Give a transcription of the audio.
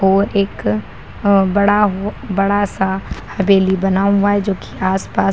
और एक बड़ा वो बड़ा-सा हवेली बना हुआ है जो की आस-पास --